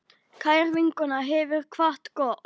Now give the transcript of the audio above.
Kær vinkona hefur kvatt okkur.